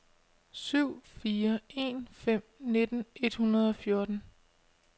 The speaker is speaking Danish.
syv fire en fem nitten et hundrede og fjorten